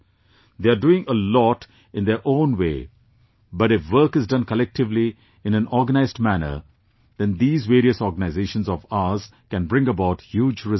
They are doing a lot in their own way but if work is done collectively, in an organized manner, then these various organizations of ours can bring about huge results